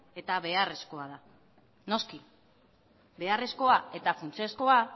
eta beharrezkoa da noski beharrezkoa eta funtsezkoa